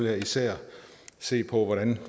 jeg især se på hvordan